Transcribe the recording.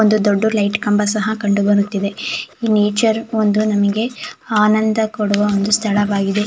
ಒಂದು ದೊಡ್ಡು ಲೈಟ್ ಕಂಬ ಸಹ ಕಂಡು ಬರುತ್ತಿದೆ ಈ ನೇಚರ್ ಒಂದು ನಮ್ಗೆ ಆನಂದ ಕೊಡುವ ಒಂದು ಸ್ಥಳವಾಗಿದೆ.